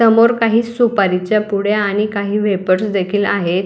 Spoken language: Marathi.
समोर काही सुपरीच्या पुड्या आणि काही वेफर्स देखील आहे.